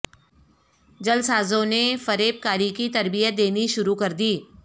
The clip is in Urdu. جعلسازوں نے فریب کاری کی تربیت دینی شروع کردی